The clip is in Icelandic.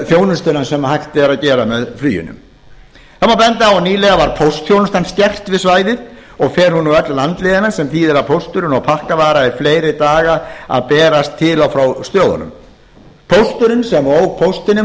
þjónustuna sem hægt er að gera með fluginu það má benda á að nýlega var póstþjónustan skert við svæðið og fer hún nú öll landleiðina sem þýðir að pósturinn og pakkavara er fleiri daga að berast til og frá stöðunum pósturinn sem ók póstinum